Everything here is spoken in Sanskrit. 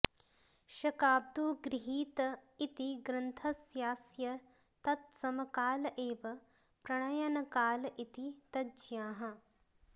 शकाब्दो गृहीत इति ग्रन्थस्यास्य तत्समकाल एव प्रणयनकाल इति तज्ज्ञाः